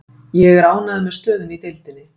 Ég er ánægður með stöðuna í deildinni.